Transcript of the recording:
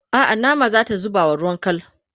a'a nama zata zubawa ruwan kal